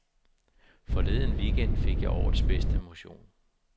Forleden weekend fik jeg årets bedste motion.